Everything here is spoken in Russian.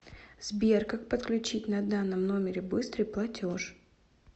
сбер как подключить на данном номере быстрый платеж